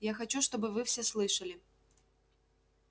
я хочу чтобы вы все слышали